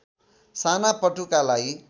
साना पटुकालाई